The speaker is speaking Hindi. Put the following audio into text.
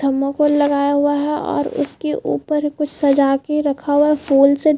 थर्मोकोल लगाया हुआ है। और उसके उपर कुछ सजा के रखा हुआ है। फूल से --